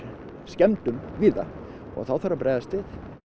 skemmdum víða þá þarf að bregðast við